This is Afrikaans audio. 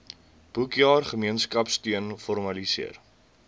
boekjaar gemeenskapsteun formaliseer